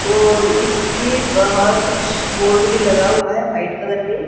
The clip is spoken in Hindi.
और इसके बाहर कुछ बोर्ड भी लगा हुआ है वाइट कलर में।